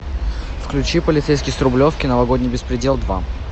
включи полицейский с рублевки новогодний беспредел два